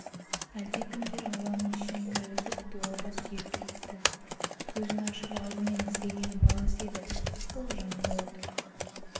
әлдекімдер ауланың ішіне кіргізіп дуалға сүйеп кетіпті көзін ашып алдымен іздегені баласы еді ол жанында отыр